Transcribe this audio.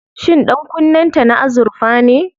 Shin ɗankunnen ta na azurfa ne?